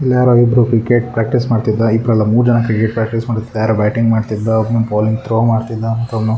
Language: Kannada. ಇಲ್ಲಿ ಯಾರೋ ಇಬ್ರು ಕ್ರಿಕೆಟ್ ಪ್ರಾಕ್ಟೀಸ್ ಮಾಡತ್ತಿದ್ದ ಇಬ್ರಲ್ಲಾ ಮೂರ್ ಜನ ಕ್ರಿಕೆಟ್ ಪ್ರಾಕ್ಟೀಸ್ ಮಾಡ್ಸತ್ತಿದ್ದ ಯಾರೋ ಬ್ಯಾಟಿಂಗ್ ಮಾಡತ್ತಿದ್ರು ಒಬ್ಬನು ಬಾಲಿಂಗ್ ಥ್ರೋ ಮಾಡತ್ತಿದ್ .]